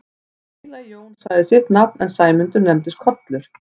Hinn heilagi Jón sagði sitt nafn en Sæmundur nefndist Kollur.